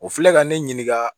O filɛ ka ne ɲininka